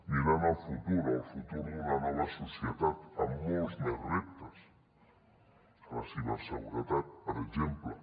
mirant el futur el futur d’una nova societat amb molts més reptes a la ciberseguretat per exemple